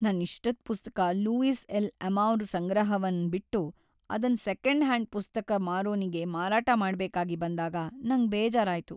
ನನ್ ಇಷ್ಟದ್ ಪುಸ್ತಕ ಲೂಯಿಸ್ ಎಲ್'ಅಮೌರ್ ಸಂಗ್ರಹವನ್ ಬಿಟ್ಟು ಅದನ್ ಸೆಕೆಂಡ್ ಹ್ಯಾಂಡ್ ಪುಸ್ತಕ್ ಮಾರೋನಿಗೆ ಮಾರಾಟ ಮಾಡ್ಬೇಕಾಗಿ ಬಂದಾಗ ನಂಗ್ ಬೇಜಾರಾಯ್ತು.